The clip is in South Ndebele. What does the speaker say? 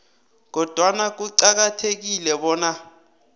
kodwana kuqakathekile bona